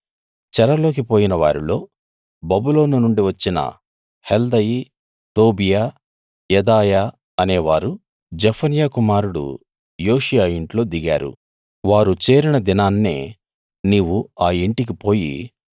చెరలోకి పోయిన వారిలో బబులోను నుండి వచ్చిన హెల్దయి టోబీయా యెదాయా అనేవారు జెఫన్యా కుమారుడు యోషీయా ఇంట్లో దిగారు వారు చేరిన దినాన్నే నీవు ఆ ఇంటికి పోయి